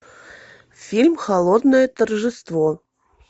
фильм холодное торжество